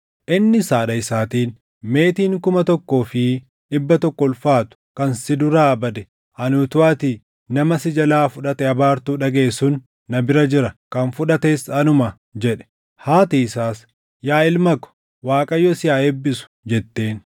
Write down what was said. innis haadha isaatiin, “Meetiin kuma tokkoo fi dhibba tokko ulfaatu kan si duraa badee ani utuu ati nama si jalaa fudhate abaartuu dhagaʼe sun na bira jira; kan fudhates anuma” jedhe. Haati isaas, “Yaa ilma ko, Waaqayyo si haa eebbisu” jetteen.